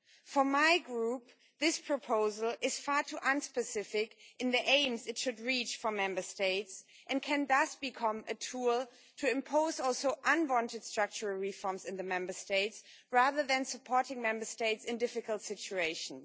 For my Group, this proposal is far too unspecific in the aims it should reach for Member States, and could thus become a tool to impose unwanted structural reforms in the Member States rather than supporting Member States in difficult situations.